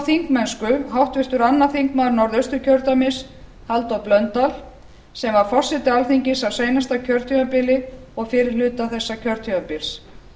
þingmennsku háttvirtur öðrum þingmönnum norðausturkjördæmis halldór blöndal sem var forseti alþingis á seinasta kjörtímabili og fyrri hluta þessa kjörtímabils